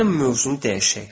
Gəlin mövzunu dəyişək.